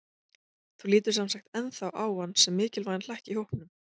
Þú lítur semsagt ennþá á hann sem mikilvægan hlekk í hópnum?